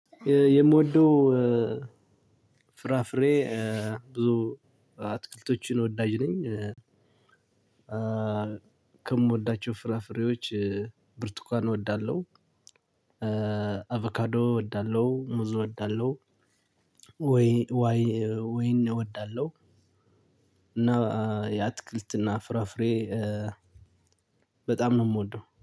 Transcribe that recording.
የምወደው ፍራፍሬ ብዙ አትክልቶችን ወዳጅ ነኝ። ከምወዳቸው ፍራፍሬዎች ብርቱካን እወዳለሁ። አቫካዶ እወዳለሁ ሙዝ እወዳለሁ። ወይ ወይን እወዳለሁ። እና የአትክልትና ፍራፍሬ በጣም ነው የምወደው